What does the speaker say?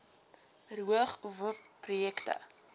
verhoog uowp projekte